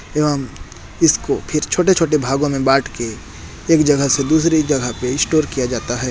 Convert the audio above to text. यहाँ इसको फिर छोटे-छोटे हिसो में बाट के एक जगह से दूसरी जगह स्टोर किया जाता है।